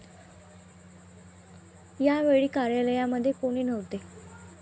या वेळी कार्यालयामध्ये कोणी नव्हते.